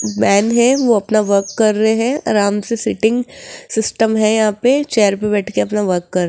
man हैं वो अपना वर्क कर रहे हैं आराम से सीटिंग सिस्टम है यहां पे चेयर पे बैठकर अपना वर्क कर --